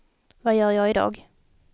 vad gör jag idag